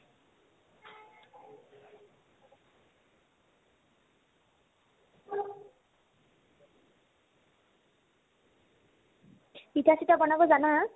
পিঠা-চিঠা বনাব জানা ?